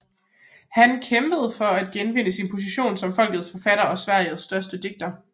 Han kæmpede for at genvinde sin position som folkets forfatter og Sveriges største digter